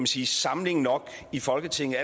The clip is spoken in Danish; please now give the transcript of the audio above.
sige samling nok i folketinget